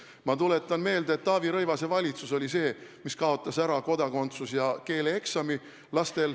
Ma tuletan meelde, et just Taavi Rõivase valitsus kaotas ära laste kodakondsus- ja keeleeksami.